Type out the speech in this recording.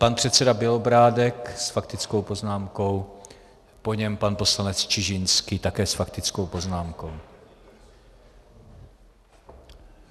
Pan předseda Bělobrádek s faktickou poznámkou, po něm pan poslanec Čižinský, také s faktickou poznámkou.